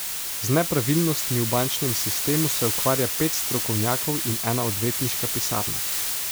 Z nepravilnostmi v bančnem sistemu se ukvarja pet strokovnjakov in ena odvetniška pisarna.